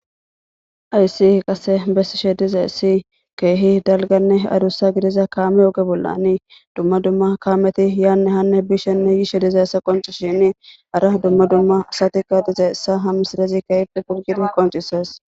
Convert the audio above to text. ayssi qase bessi she diza essi keehi dalganne arussa gidiza kaame oge bollanii dumma dumma kaameti yaanne hanne bishenne yiishe dize essa qonci shini ara dumma dumma saatika diza essa ham sidezi kehiti pulgir qoncises